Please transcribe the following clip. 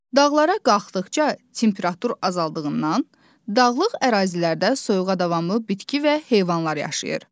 Dağlara qalxdıqca temperatur azaldığından, dağlıq ərazilərdə soyuğa davamlı bitki və heyvanlar yaşayır.